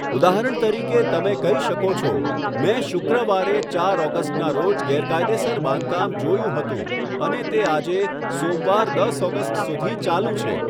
ઉદાહરણ તરીકે, તમે કહી શકો છો, 'મેં શુક્રવારે, ચાર ઓગસ્ટના રોજ ગેરકાયદેસર બાંધકામ જોયું હતું અને તે આજે, સોમવાર, દસ ઓગસ્ટ સુધી ચાલુ છે.'